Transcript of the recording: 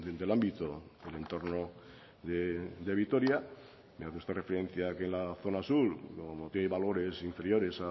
del ámbito del entorno de vitoria me hace usted referencia que la zona sur como tiene valores inferiores